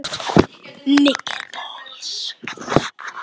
Eðna, hvað er lengi opið í Krónunni?